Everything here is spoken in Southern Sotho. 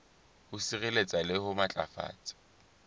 ho sireletsa le ho matlafatsa